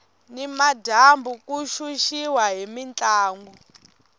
ni madyambu ku xuxiwa hi mintlangu